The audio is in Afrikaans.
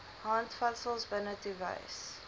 handvatsels binnetoe wys